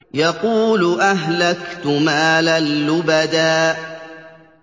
يَقُولُ أَهْلَكْتُ مَالًا لُّبَدًا